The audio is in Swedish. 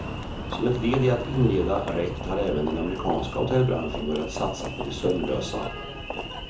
Som ett led i att inreda rätt har även den amerikanska hotellbranschen börjat satsa på de sömnlösa.